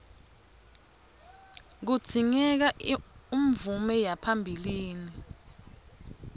kudzingeka umvume yaphambilini